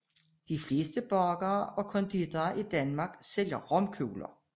De fleste bagere og konditorer i Danmark sælger romkugler